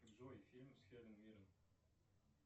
джой фильм с хелен миррен